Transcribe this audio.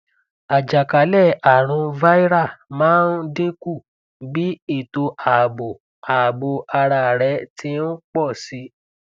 ajakalẹarun viral maa n dinku bi eto aabo aabo ara rẹ ti n pọ si